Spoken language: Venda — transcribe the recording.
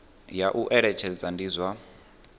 ya u eletshedza ndi zwa